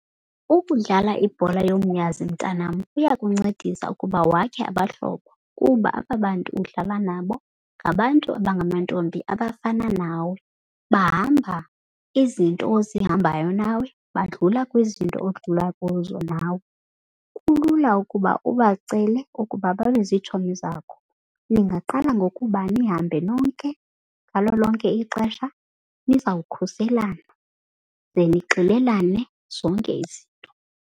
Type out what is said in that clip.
Ukudlala ibhola yomnyazi mntanam kuya kuncedisa ukuba wakhe abahlobo kuba aba bantu udlala nabo ngabantu abangamantombi abafana nawe. Bahamba izinto ozihambayo nawe, badlula kwizinto odlula kuzo nawe. Kulula ukuba ubacele ukuba babe zitshomi zakho. Ningaqala ngokuba nihambe nonke ngalo lonke ixesha nizawukhuselana, ze nixelelane zonke izinto.